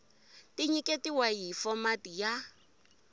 ti nyiketiwa hi fomati ya